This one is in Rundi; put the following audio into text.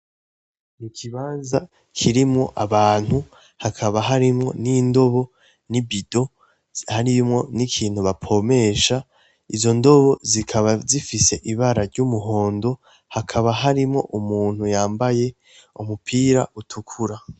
N'ikibanza kirimwo abantu hakaba harimwo n'indobo nibido harimwo n'ikintu bapompesha izo ndobo zikaba zifise ibara ry'umuhondo hakaba harimwo umuntu yambaye umupira utukura.